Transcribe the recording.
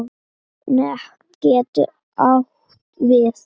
Net getur átt við